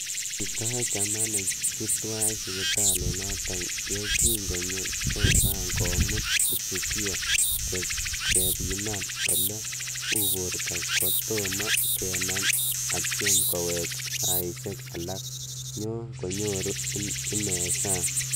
Kitoiyo chamanek chu twai siptalit notok ye kinyoo Chauvin komutu mshukiwa kepiman ole u porto kotoma kenam, atyem kowek saishek alak nyo konyur ing sang.